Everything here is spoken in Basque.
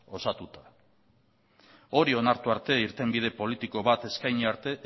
osatuta hori onartu arte irtenbide politiko bat eskaini arte